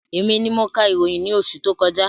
Èmi ni mo ka ìròyìn ní oṣù tó kọjá